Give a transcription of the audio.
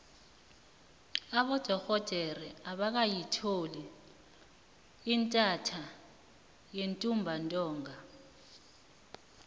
abodorhodere abakayitholi intatha yentumbantonga